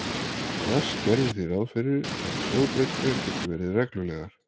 Rask gerði því ráð fyrir að hljóðbreytingar geti verið reglulegar.